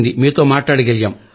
మీతో మాట్లాడగలిగాం